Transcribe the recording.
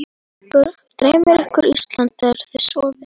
Dreymir ykkur Ísland þegar þið sofið?